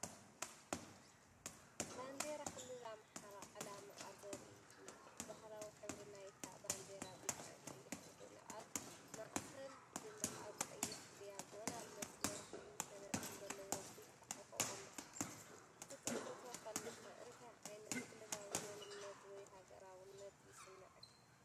ባንዴራ ክልል ኣምሓራ ዕላምኣ ዘርኢ እዩ። ባህላዊ ሕብሪ ናይታ ባንዴራ ብጫን ቀይሕን ኮይኑ፡ ኣብ ማእከል ድማ ኣብ ቀይሕ ዳያጎናል መስመር ሓሙሽተ ነጥቢ ዘለዎ ብጫ ኮኾብ ኣሎ። ክትጥምቶ ከለኻ እንታይ ዓይነት ክልላዊ መንነት ወይ ሃገራውነት ይስምዓካ?